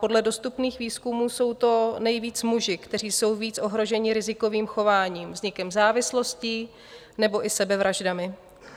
Podle dostupných výzkumů jsou to nejvíc muži, kteří jsou více ohroženi rizikovým chováním, vznikem závislostí nebo i sebevraždami.